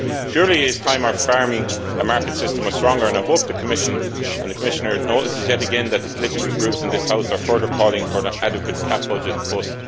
Surely it is time our farming and market system was stronger and I hope the Commission and the Commissioner notice yet again that the political groups in this House are further calling for an adequate CAP budget post